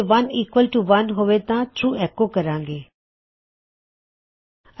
ਜੇ ਇਕ ਬਰਾਬਰ ਇਕ ਹੋਵੇ ਤਾਂ ਟਰੂ ਐੱਕੋ ਕਰਾਂ ਗੇ